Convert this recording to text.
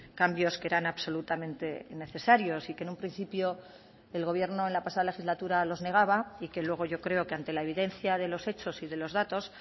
cambios que eran absolutamente necesarios y que en un principio el gobierno en la pasada legislatura los negaba y que luego yo creo que ante la evidencia de los hechos y de los datos